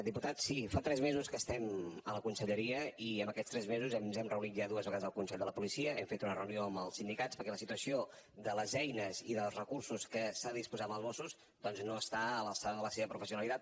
diputat sí fa tres mesos que estem a la conselleria i en aquests tres mesos ens hem reunit ja dues vegades al consell de la policia hem fet una reunió amb els sindicats perquè la situació de les eines i dels recursos de què s’ha disposat als mossos doncs no està a l’alçada de la seva professionalitat